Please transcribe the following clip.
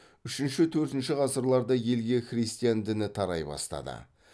үшінші төртіншщі ғасырларда елге христиан діні тарай бастады